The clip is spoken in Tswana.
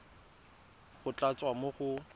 go tla tswa mo go